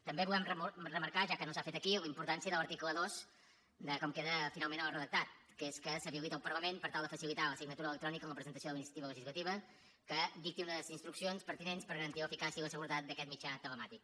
també volem remarcar ja que no s’ha fet aquí la importància de l’article dos de com queda finalment el redactat que és que s’habilita el parlament per tal de facilitar la signatura electrònica en la presentació de la iniciativa legislativa que dicti unes instruccions pertinents per garantir l’eficàcia i la seguretat d’aquest mitjà telemàtic